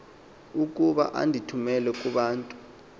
okuba andithumele kubantu